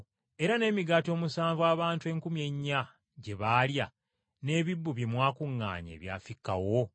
Era n’emigaati omusanvu abantu enkumi ennya gye baalya n’ebisero bye mwakuŋŋaanya ebyafikkawo?